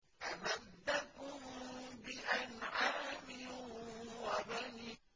أَمَدَّكُم بِأَنْعَامٍ وَبَنِينَ